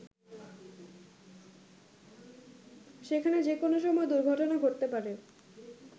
সেখানে যে কোনো সময় দুর্ঘটনা ঘটতে পারে।